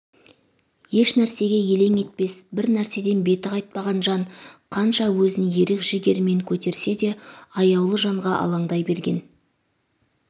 ешнәрсеге елең етпес бір нәрседен беті қайтпаған жан қанша өзін ерік жігерімен көтерсе де аяулы жанға алаңдай берген